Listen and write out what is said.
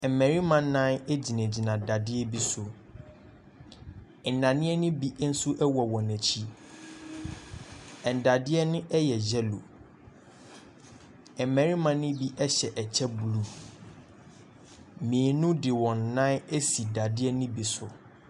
Mmarima nnan gyina gyina dadeɛ bi so. Nnadeɛ ne bi nso wɔ wɔn akyi, nnadeɛ no yɛ yellow. Mmarima ne bi hyɛ kyɛ blue, mmienu de wɔn nan asi dadeɛ ne bi so.